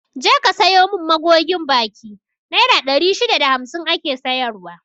Je ka sayo mun magogin baki, naira ɗari shida da hamsin ake sayar wa